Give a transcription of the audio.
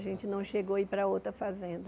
A gente não chegou a ir para outra fazenda.